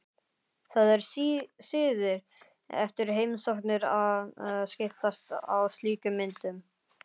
Það er siður eftir heimsóknir að skiptast á slíkum myndum.